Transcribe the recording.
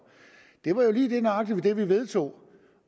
lige nøjagtig det vi vedtog